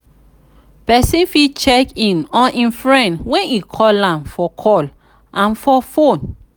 persin fit check in on im friend when e call am for call am for phone